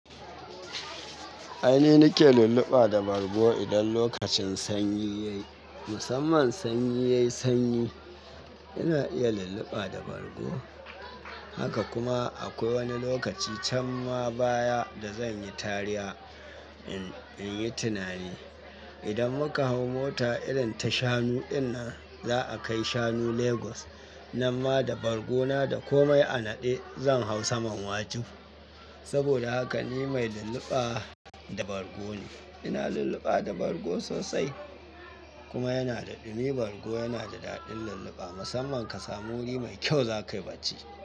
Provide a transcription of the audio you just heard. Ai ni nake lulluɓa da bargo idan lokacin sanyi ya yi. Musamman sanyi ya yi sanyi, ina iya lulluɓa da bargo. Haka kuma akwai wani lokaci can ma baya da zanyi tariya in yi tunani. Idan muka hau mota irin ta shanu in nan za a kai shanu Lagos. Nanma da bargona da komai a naɗe zan hau saman wajen. Saboda haka ni mai lulluɓa da bargo ne. Ina lulluɓa da bargo sosai. Kuma yana da dumi. Bargo yana da daɗin lulluɓa. Musamman ka samu wuri mai kyau zakayi bacci.